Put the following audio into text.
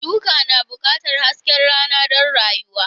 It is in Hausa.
Shuka na buƙatar hasken rana don rayuwa.